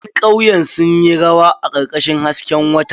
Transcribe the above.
Ƴan kauyen sun yi rawa a karkashin hasken wata.